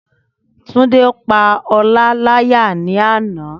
Túndé pa Ọlá láyà ní àná